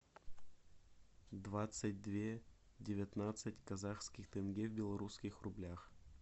двадцать две девятнадцать казахских тенге в белорусских рублях